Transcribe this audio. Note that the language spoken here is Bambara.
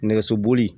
Nɛgɛsoboli